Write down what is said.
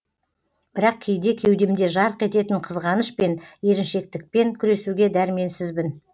бірақ кейде кеудемде жарқ ететін қызғаныш пен еріншектікпен күресуге дәрменсізбін